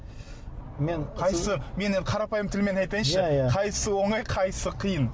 мен қайсы мен енді қарапайым тілмен айтайыншы иә иә қайсысы оңай қайсысы қиын